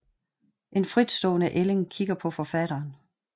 En fritstående ælling kigger på forfatteren